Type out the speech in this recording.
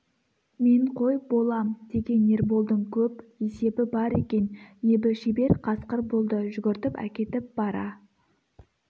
мен қой болам деген ерболдың көп есебі бар екен ебі шебер қасқыр болды жүгіртіп әкетіп бара